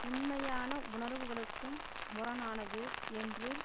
உண்மையான உணர்வுகளுக்கும் முரணானது என்றும்